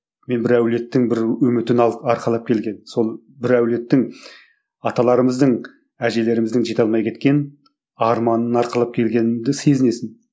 мен бір әулеттің бір үмітін алып арқалап келген сол бір әулеттің аталарымыздың әжелеріміздің жете алмай кеткен арманын арқалап келгеніңді сезінесің